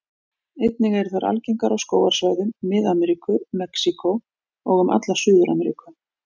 Einnig eru þær algengar á skógarsvæðum Mið-Ameríku, Mexíkó og um alla Suður-Ameríku.